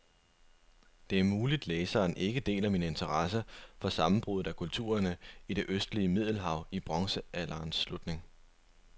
Det er muligt, læseren ikke deler min interesse for sammenbruddet af kulturerne i det østlige middelhav i bronzealderens slutning.